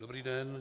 Dobrý den.